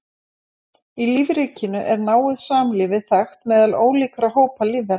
Í lífríkinu er náið samlífi þekkt meðal ólíkra hópa lífvera.